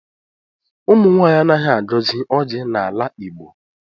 Ụmụnwaanyị anaghị agọzi ọjị n'ala Igbo.